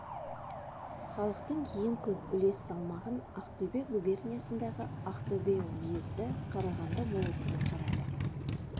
халықтың ең көп үлес салмағын ақтөбе губерниясындағы ақтөбе уезді қарағанды болысына қарады